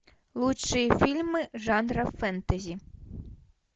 лучшие фильмы жанра фэнтези